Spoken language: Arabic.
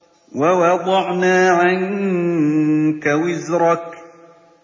وَوَضَعْنَا عَنكَ وِزْرَكَ